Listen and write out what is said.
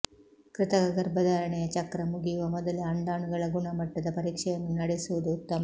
ಕೃತಕ ಗರ್ಭಧಾರಣೆಯ ಚಕ್ರ ಮುಗಿಯುವ ಮೊದಲೇ ಅಂಡಾಣುಗಳ ಗುಣಮಟ್ಟದ ಪರೀಕ್ಷೆಯನ್ನು ನಡೆಸುವುದು ಉತ್ತಮ